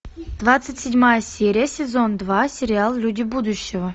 двадцать седьмая серия сезон два сериал люди будущего